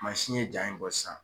Mansin ye jaa in bɔ sisan.